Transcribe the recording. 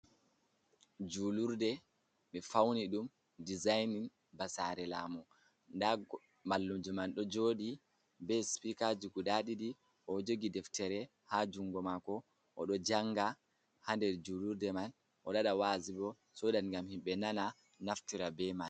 julurde be fauni dum dezainin basare lamu, nda mallumjo man do jodi be spikaji guda didi o jogi deftere ha jungo mako o do janga hander julurde man o do wada wazubo sodat gam himbe nana naftira be mai.